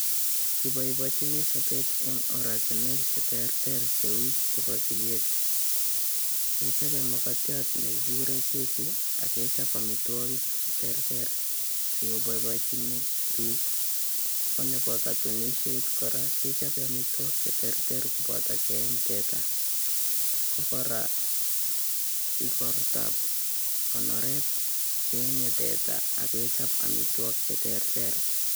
Kiboiboenchini sobeet en oratinwek cheterter cheuu chebo sikeet, kechope makatiat nekikuren keki ak kechop amitwokik cheterter sikoboiboinchi biik, konebo kotunisiet kora kechope amitwokik cheterter koboto keeny teta ko kora ikortab konoret keenye teta ak kechop amitwokik cheterter.